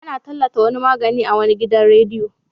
Ana tallata wani magani a wani gidan radiyo.